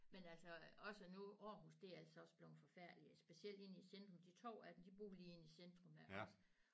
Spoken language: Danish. Men altså også nu Aarhus det er altså også blevet forfærdeligt specielt inde i centrum de 2 af dem de bor lige inde i centrum af Aarhus